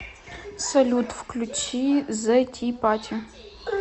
салют включи зэ ти пати